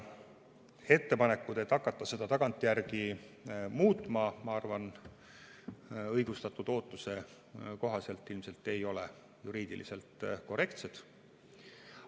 Ettepanekud, et hakata seda tagantjärgi muutma, ma arvan, ei ole õigustatud ootuse kohaselt ilmselt juriidiliselt korrektsed.